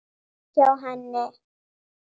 Framhjá henni.